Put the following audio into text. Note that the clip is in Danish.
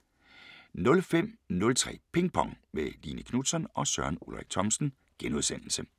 05:03: Ping Pong – med Line Knutzon og Søren Ulrik Thomsen *